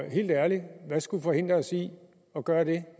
helt ærligt hvad skulle forhindre os i at gøre det